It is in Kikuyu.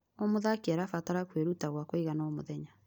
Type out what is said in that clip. O mũthaki arabatara kwĩruta gwa kũigana o mũthenya.